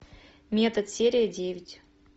метод серия девять